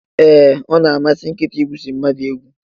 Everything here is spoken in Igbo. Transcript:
E, Ọ na amasi nkịta igwusa mmadụ egwu.